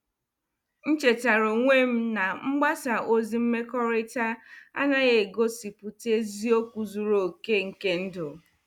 M chetaara onwe m na mgbasa ozi mmekọrịta anaghị egosipụta eziokwu zuru oke nke ndụ.